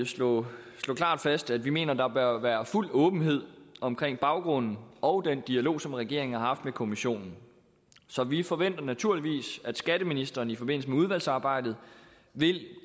slå fast at vi mener der bør være fuld åbenhed omkring baggrunden og den dialog som regeringen har haft med kommissionen så vi forventer naturligvis at skatteministeren i forbindelse med udvalgsarbejdet vil